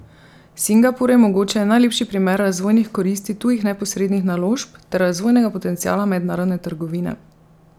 Singapur je mogoče najlepši primer razvojnih koristi tujih neposrednih naložb ter razvojnega potenciala mednarodne trgovine.